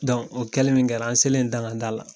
Dɔnku o kɛlen min kɛra an selen dangada la